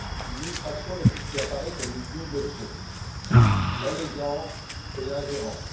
l'illustration de ce qui apparaît comme une double faute l'allégeance et l'ingérence.